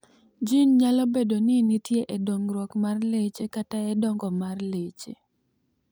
Jin ni nyalo bedo ni nitie e dongruok mar leche kata e dongo mar leche.